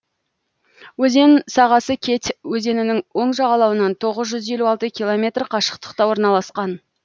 өзен сағасы кеть өзенінің оң жағалауынан тоғыз жүз елу алты километр қашықтықта орналасқан